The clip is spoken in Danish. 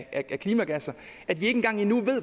af klimagasser at vi ikke engang ved